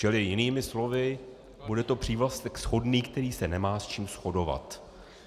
Čili jinými slovy, bude to přívlastek shodný, který se nemá s čím shodovat.